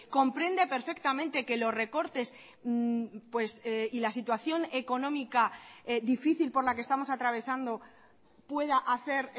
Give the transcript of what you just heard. comprende perfectamente que los recortes y la situación económica difícil por la que estamos atravesando pueda hacer